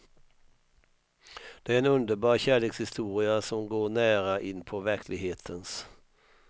Det är en underbar kärlekshistoria som går nära inpå verklighetens.